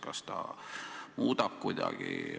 Kas see muudab seda kuidagi?